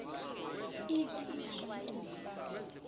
ithi ingaba nkulu